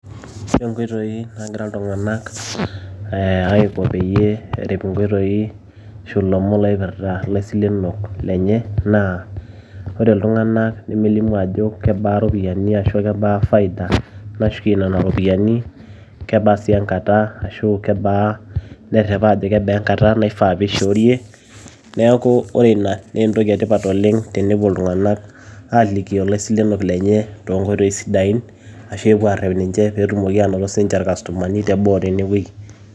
Ore nkoitoi naagira iltung`anak aiko peyie erip nkoitoi ashu ilomon oipirta laisilenok lenye naa ore iltung`anak lemelimu aajo kebaa irropiyiani ashu kebaa faida nashukie nena ropiyiani. Kebaa sii enkata ashu nerrep ajo kebaa enkata nifaa pee ishoorie. Niaku ore ina naa entoki e tipat oleng tenepuo iltung`anak aalikio ilaisilenok lenye too nkoitoi sidain ashu epuo aarrep ninche pee etumoki aanoto sii ninche ir customer nii teboo tene wueji.